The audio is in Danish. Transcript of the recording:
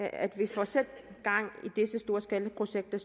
at vi får sat gang i disse storskalaprojekter